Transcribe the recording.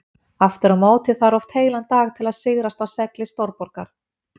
Aftur á móti þarf oft heilan dag til að sigrast á segli stórborgar.